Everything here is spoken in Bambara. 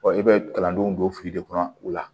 i bɛ kalandenw don fili de kɔnɔ u la